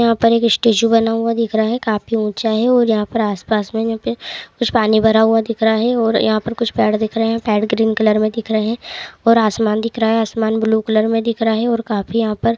यहां पर एक स्टेचू बना हुआ दिख रहा है काफी ऊंचा है और यहां पर आसपास में कुछ पानी भरा हुआ दिख रहा है और यहां पर कुछ पेड़ दिख रहे है पेड़ ग्रीन कलर में दिख रहे है और आसमान दिख रहा है आसमान ब्लू कलर में दिख रहा है। और काफी यहाँ पर --